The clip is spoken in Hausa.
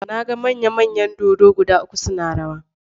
Na ga manya-manyan dodo guda uku suna rawa.